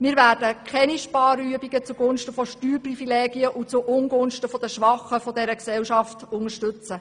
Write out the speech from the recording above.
Wir werden keine Sparübungen zugunsten von Steuerprivilegien und zuungunsten der Schwachen dieser Gesellschaft unterstützen.